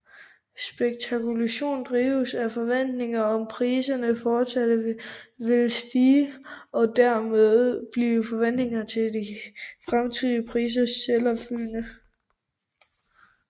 Spekulationen drives af forventninger om at priserne forsat vil stige og dermed bliver forventningerne til de fremtidige priser selvopfyldende